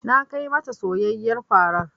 Na kai ma ta soyayyen farar.